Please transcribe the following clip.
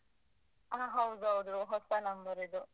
ಹಾ ಹೌದ್ ಹೌದು, ಹೊಸ number ಇದು.